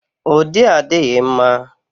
Ụdị a adịghị mma.